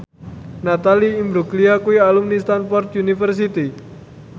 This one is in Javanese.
Natalie Imbruglia kuwi alumni Stamford University